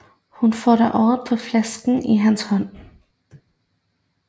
Hun får da øje på flasken i hans hånd